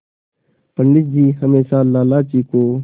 पंडित जी हमेशा लाला जी को